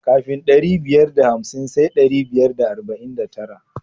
Kafin ɗari biyar da hamsin sai ɗari biyar da arba'in da tara.